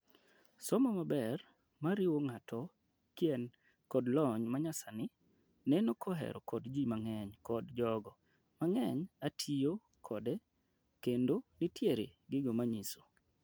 somo maber, mariwo nga'ato kien kod lony manyasani, neno koher kod ji mang'eny kod jogo , mang'eny ,atiyo kode, kendo nitiere gigo manyiso